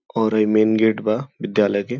और हई main gate बा विद्यालय के।